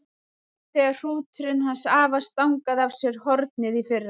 Eins og þegar hrúturinn hans afa stangaði af sér hornið í fyrra.